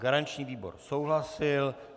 Garanční výbor souhlasil.